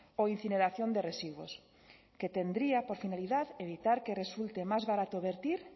o incineración de residuos que tendría por finalidad evitar que resulte más barato verter